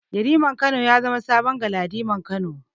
Yariman Kano ya zama saman Galadiman Kano.